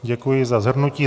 Děkuji za shrnutí.